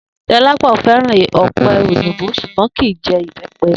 Do̩lápò̩ fé̩ràn ò̩pe̩ òyìnbó s̩ùgbó̩n kì í je̩ ìbé̩pe̩